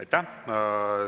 Aitäh!